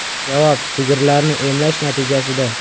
Javob sigirlarni emlash natijasida.